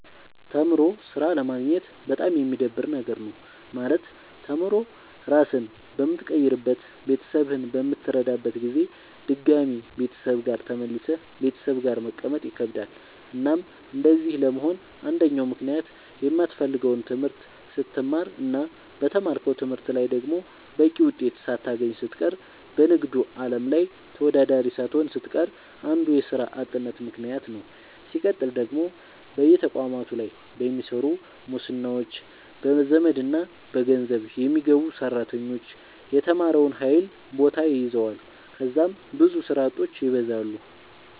ተምሮ ስራ አለማግኘት በጣም የሚደብር ነገር ነው። ማለት ተምሮ ራስህን በምትቀይርበት ቤተሰብህን በምትረዳበት ጊዜ ድጋሚ ቤተሰብ ጋር ተመልሰህ ቤተሰብ ጋር መቀመጥ ይከብዳል። እናም እንደዚህ ለመሆን አንደኛው ምክንያት የማትፈልገውን ትምህርት ስትማር እና በተማርከው ትምህርት ላይ ደግሞ በቂ ውጤት ሳታገኝ ስትቀር በንግዱ አለም ላይ ተወዳዳሪ ሳትሆን ስትቀር አንዱ የስራ አጥነት ምከንያት ነዉ። ስቀጥል ደግሞ በየተቋማቱ ላይ በሚሰሩ ሙስናዎች፣ በዘመድና በገንዘብ የሚገቡ ሰራተኞች የተማረውን ኃይል ቦታ ይዘዋል ከዛም ብዙ ስራ አጦች ይበዛሉ።